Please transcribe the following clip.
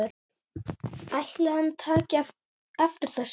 Ætli hann taki eftir þessu?